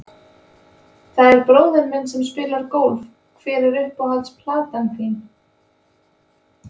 Það er bróðir minn sem spilar golf Hver er uppáhalds platan þín?